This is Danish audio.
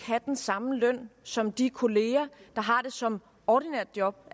have den samme løn som de kollegaer der har det som et ordinært job